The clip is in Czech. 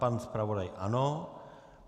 Pan zpravodaj ano.